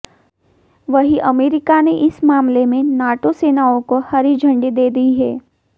वहीं अमेरिका ने इस मामले में नाटो सेनाओं को हरी झंडी दे दी है